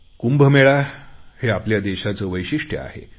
कुंभमेळा हे आपल्या देशाचे वैशिष्ट्य आहे